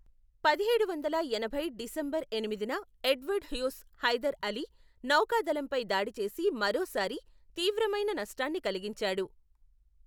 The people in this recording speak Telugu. పదిహేడు వందల ఎనభై డిసెంబర్ ఎనిమిదిన, ఎడ్వర్డ్ హ్యూస్ హైదర్ అలీ నౌకాదళంపై దాడి చేసి మరోసారి తీవ్రమైన నష్టాన్ని కలిగించాడు.